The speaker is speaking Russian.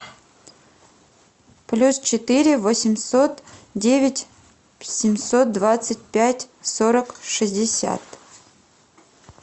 плюс четыре восемьсот девять семьсот двадцать пять сорок шестьдесят